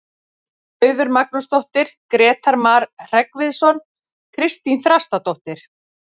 Auður Magnúsdóttir, Grétar Mar Hreggviðsson, Kristín Þrastardóttir.